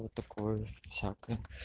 вот такое всякое